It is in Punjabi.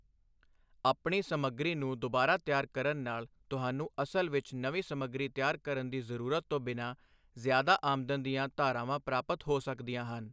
ਆਪਣੀ ਸਮੱਗਰੀ ਨੂੰ ਦੁਬਾਰਾ ਤਿਆਰ ਕਰਨ ਨਾਲ ਤੁਹਾਨੂੰ ਅਸਲ ਵਿੱਚ ਨਵੀਂ ਸਮੱਗਰੀ ਤਿਆਰ ਕਰਨ ਦੀ ਜ਼ਰੂਰਤ ਤੋਂ ਬਿਨਾਂ ਜ਼ਿਆਦਾ ਆਮਦਨ ਦੀਆਂ ਧਾਰਾਵਾਂ ਪ੍ਰਾਪਤ ਹੋ ਸਕਦੀਆਂ ਹਨ।